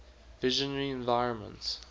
visionary environments